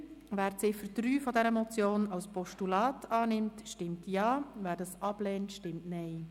Wer die Ziffer 3 dieser Motion als Postulat annimmt, stimmt Ja, wer dies ablehnt, stimmt Nein.